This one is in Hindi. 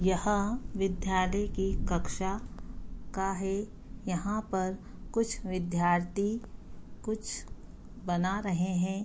यहाँ विद्यालय की कक्षा का है यहाँ पर कुछ विद्यार्थी कुछ बना रहे हैं।